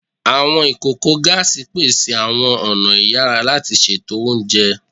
Awọn ikoko gaasi pese awọn ọna iyara lati ṣeto ounjẹ